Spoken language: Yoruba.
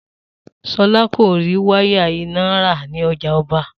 Solá kò rí wáyà iná rà ní ojà oba